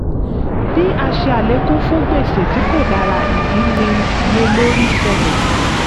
bí a ṣe àlékún fún gbèsè tí kò dára ìdínníyelórí ṣẹlẹ̀.